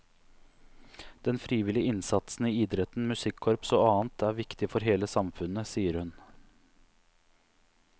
Den frivillige innsatsen i idretten, musikkorps og annet er viktig for hele samfunnet, sier hun.